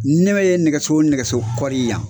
Ne be ye nɛgɛso o nɛgɛso kɔri yan